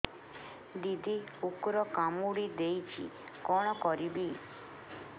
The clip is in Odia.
ଦିଦି କୁକୁର କାମୁଡି ଦେଇଛି କଣ କରିବି